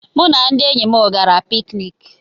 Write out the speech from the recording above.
Mụ na ndị enyi m gara pikiniki.